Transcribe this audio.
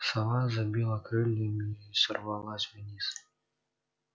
сова забила крыльями и сорвалась вниз